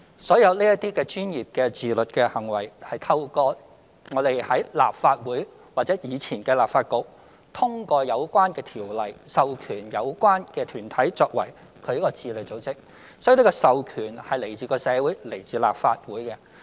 所有這些專業的自律行為，是透過立法會或前立法局通過的相關條例，授權有關團體作為自律組織，所以這個授權是來自社會及立法會。